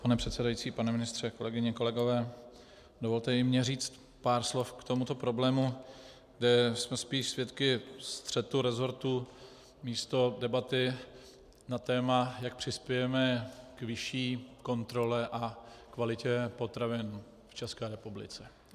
Pane předsedající, pane ministře, kolegyně, kolegové, dovolte i mně říct pár slov k tomuto problému, kde jsme spíše svědky střetu resortu místo debaty na téma, jak přispějeme k vyšší kontrole a kvalitě potravin v České republice.